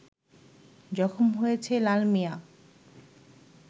জখম হয়েছে লালমিয়া